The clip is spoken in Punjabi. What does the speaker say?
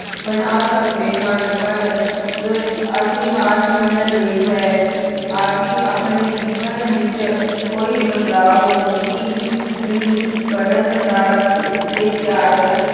ਬਣਾ ਸਕਦੇ ਹਨ, ਪਰ ਰ ਅਸੀਂ ਹਾਰ ਮਨ ਲਈ ਹੈ, ਅਸੀਂ ਆਪਣੇ ਜੀਵਨ ਵਿੱਚ ਕੋਈ ਬਦਲਾਵ ਨਹੀਂ ਹੀ ਕਰਨ ਦਾ ਲਈ ਤਿਆਰ